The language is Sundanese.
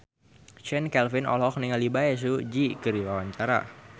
Chand Kelvin olohok ningali Bae Su Ji keur diwawancara